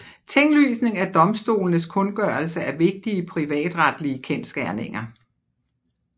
Tinglysning er domstolenes kundgørelse af vigtige privatretlige kendsgerninger